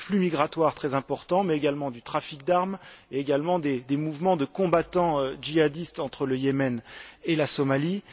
Il y a des flux migratoires très importants, mais également un trafic d'armes et des mouvements de combattants jihadistes entre le Yémen et la Somalie.